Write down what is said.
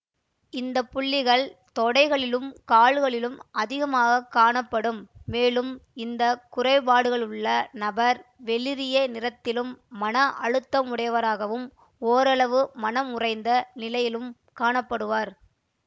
இந்த புள்ளிகள் தொடைகளிலும் கால்களிலும் அதிகமாக காணப்படும் மேலும் இந்த குறைபாடுகளுள்ள நபர் வெளிரிய நிறத்திலும் மன அழுத்தமுடையவராகவும் ஓரளவு மனம் உறைந்த நிலையிலும் காண படுவர்